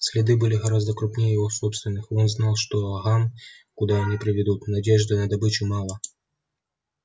следы были гораздо крупнее его собственных и он знал что гам куда они приведут надежды на добычу мало